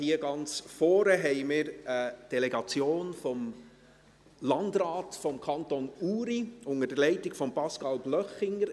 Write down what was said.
Ganz vorne befindet sich eine Delegation des Landrates des Kantons Uri, unter der Leitung von Pascal Blöchlinger.